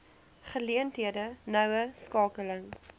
geleenthede noue skakeling